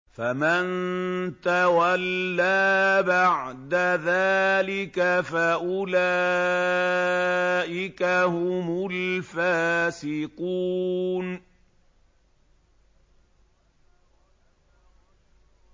فَمَن تَوَلَّىٰ بَعْدَ ذَٰلِكَ فَأُولَٰئِكَ هُمُ الْفَاسِقُونَ